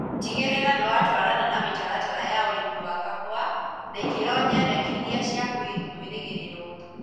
Tĩgĩrĩra nĩwatwarana na mĩtaratara ya ũrĩmi wa kahũa na ikĩro nyendekithie cia kwĩrĩgĩrĩrwo